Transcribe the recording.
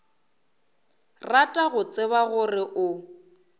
rata go tseba gore o